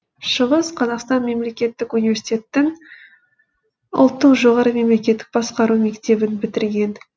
шығыс қазақстан мемлекеттік университетін ұлттық жоғары мемлекеттік басқару мектебін бітірген